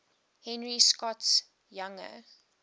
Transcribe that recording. henry scott's younger